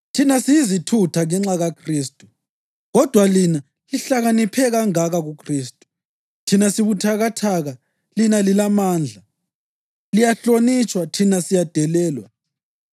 Thina siyizithutha ngenxa kaKhristu, kodwa lina lihlakaniphe kangaka kuKhristu! Thina sibuthakathaka lina lilamandla! Liyahlonitshwa, thina siyadelelwa.